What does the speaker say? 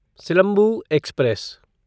Silambu express